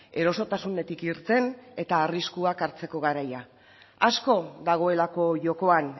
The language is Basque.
erosotasunetik irten eta arriskuak hartzeko garaia asko dagoelako jokoan